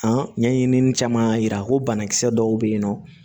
ɲɛɲinini caman y'a yira ko banakisɛ dɔw bɛ yen nɔ